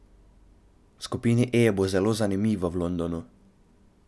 V skupini E bo zelo zanimivo v Londonu.